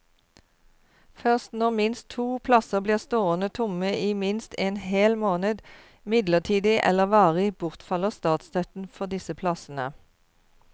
Først når minst to plasser blir stående tomme i minst en hel måned, midlertidig eller varig, bortfaller statsstøtten for disse plassene.